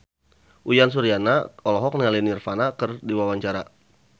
Uyan Suryana olohok ningali Nirvana keur diwawancara